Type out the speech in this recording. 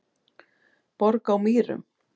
Borg á Mýrum